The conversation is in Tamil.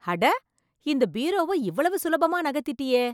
அட இந்த பீரோவை இவ்வளவு சுலபமா நகர்த்திட்டியே